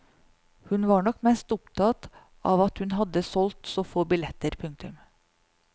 Hun var nok mest opptatt av at hun hadde solgt så få billetter. punktum